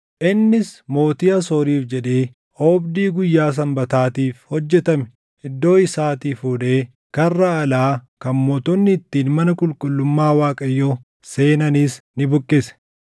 Innis mootii Asooriif jedhee oobdii guyyaa Sanbataatiif hojjetame iddoo isaatii fuudhee karra alaa kan mootonni ittiin mana qulqullummaa Waaqayyoo seenanis ni buqqise.